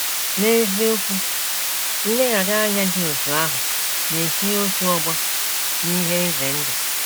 N’eziokwu, nleghara anya dị otú ahụ na - etinye otu ọgbọ n’ihe ize ndụ. ”